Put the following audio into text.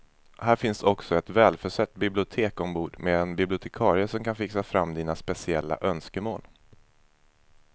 Här finns också ett välförsett bibliotek ombord med en bibliotekarie som kan fixa fram dina speciella önskemål.